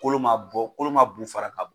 Kolo ma bɔ ,kolo ma bu fara ka bɔ.